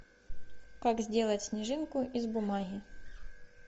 как сделать снежинку из бумаги